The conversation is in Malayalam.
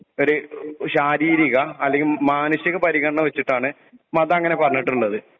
ഒരു ശാരീരീരിക അല്ലങ്കിൽ മാനസീക പരിഗണന വെച്ചിട്ടാണ് മത എം അങ്ങനെ പറഞ്ഞിട്ടുള്ളത്.